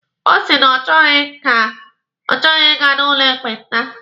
Ọ sị na ọ chọghi Ị ga n'ụlọ ekpenta.